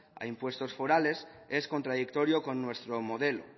a impuestos forales es contradictorio con nuestro modelo